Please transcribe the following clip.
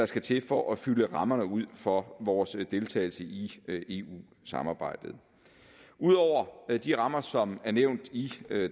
skal til for at fylde rammerne ud for vores deltagelse i eu samarbejdet ud over de rammer som er nævnt i